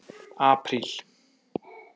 apríl